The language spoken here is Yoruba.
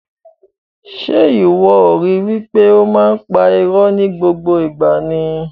Ṣe iwọ o ri wipe o máa n pa ìró ni gbogbo ìgbà ni?